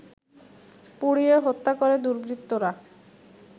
পুড়িয়ে হত্যা করে দুর্বৃত্তরা